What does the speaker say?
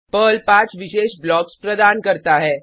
Perl 5 विशेष blocks प्रदान करता है